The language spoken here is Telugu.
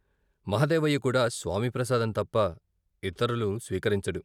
మహదేవయ్య కూడా స్వామి ప్రసాదం తప్ప ఇతరులు స్వీకరించడు.